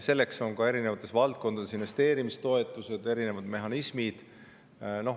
Selleks on erinevates valdkondades investeerimistoetused, erinevad mehhanismid.